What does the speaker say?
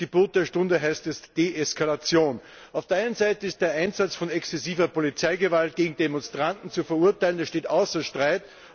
Das Gebot der Stunde heißt jetzt Deeskalation. Auf der einen Seite ist der Einsatz von exzessiver Polizeigewalt gegen Demonstranten zu verurteilen, das steht außer Streit.